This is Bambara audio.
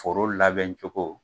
Foro labɛn cogo